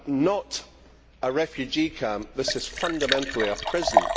not a refugee camp, this is fundamentally a prison.